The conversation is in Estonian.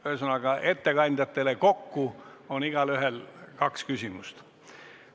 Ühesõnaga, ettekandjatele kokku on igaühel kaks küsimust.